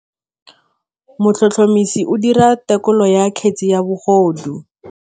Motlhotlhomisi o dira têkolô ya kgetse ya bogodu.